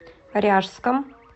ряжском